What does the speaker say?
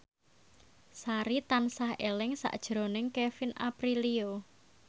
Sari tansah eling sakjroning Kevin Aprilio